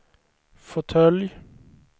fåtölj